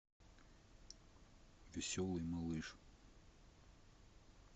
веселый малыш